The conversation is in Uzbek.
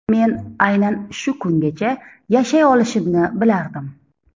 Men aynan shu kungacha yashay olishimni bilardim.